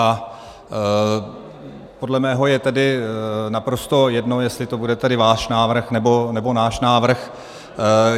A podle mého je tedy naprosto jedno, jestli to bude tedy váš návrh, nebo náš návrh.